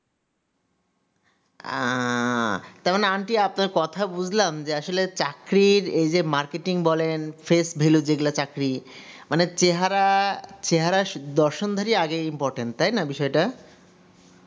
আহ কারণ aunty আপনার কথা বুজলাম যে আসলে চাকরির এই যে markatting বলেন face value যেগুলো চাকরি মানে চেহারা দর্শন ধরি আগে importain তাই না বিষয় টা